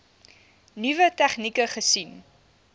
nuwe tegnieke gesien